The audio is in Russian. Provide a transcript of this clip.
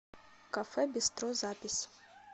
кафе бистро запись